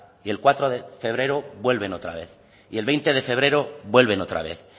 y el cuatro de febrero vuelven otra vez y el veinte de febrero vuelven otra vez